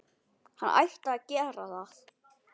Hann ætti að gera það.